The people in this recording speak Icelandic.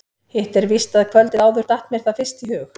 Hitt er víst að kvöldið áður datt mér það fyrst í hug.